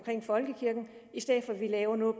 folkekirken i stedet for at vi laver noget